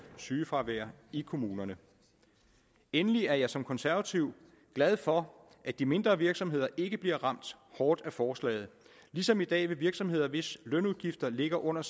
sygefravær i kommunerne endelig er jeg som konservativ glad for at de mindre virksomheder ikke bliver ramt hårdt af forslaget ligesom i dag vil virksomheder hvis lønudgifter ligger under